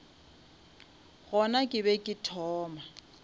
gona ke be ke thoma